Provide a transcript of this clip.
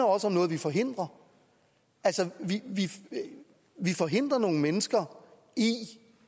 også om noget vi forhindrer altså vi forhindrer nogle mennesker i